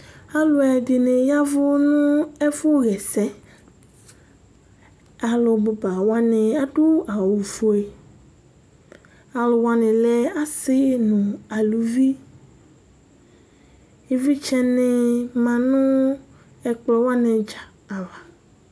Alʋɛdìní yavu nʋ ɛfʋ ɣɛsɛ Alu bʋba wani adu awu fʋe Alu wani lɛ asi nʋ alʋvi Ivlitsɛ ni ma nʋ ɛkplɔ wani dza ava